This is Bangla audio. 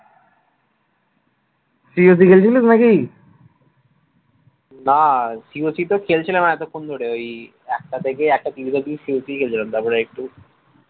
না COC তো খেলছিলাম এতক্ষণ ধরে ওই একটা থেকে একটা ত্রিশ অব্দি COC খেলছিলাম তারপরে একটু